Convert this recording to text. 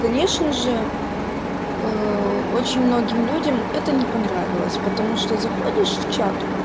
конечно же очень многим людям это не понравилось потому что заходишь в чат